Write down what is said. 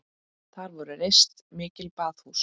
Þar voru reist mikil baðhús.